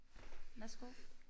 Værsgo